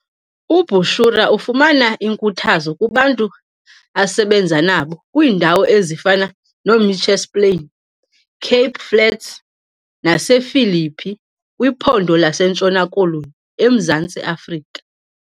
UBushra ufumana inkuthazo kubantu asebenza nabo kwiindawo ezifana noMitchells Plain, Cape Flats nasePhilippi kwiphondo laseNtshona Koloni eMzantsi Afrika.